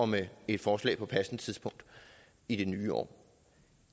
med et forslag på passende tidspunkt i det nye år